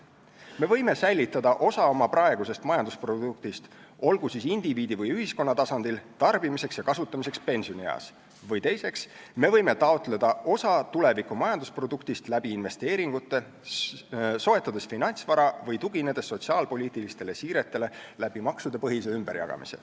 Me võime esiteks säilitada osa oma praegusest majandusproduktist, olgu siis indiviidi või ühiskonna tasandil tarbimiseks ja kasutamiseks pensionieas, või teiseks, me võime taotleda osa tuleviku majandusproduktist läbi investeeringute, soetades finantsvara või tuginedes sotsiaalpoliitilistele siiretele läbi maksudepõhise ümberjagamise.